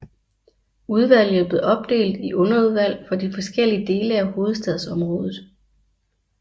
Udvalget blev opdelt i underudvalg for de forskellige dele af hovedstadsområdet